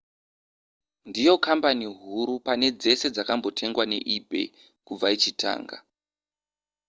ndiyo kambani huru pane dzese dzakambotengwa neebay kubva ichitanga